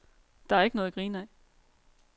Der er ikke noget at grine ad.